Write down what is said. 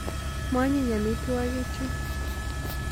Ma onyiny amitwogik chu.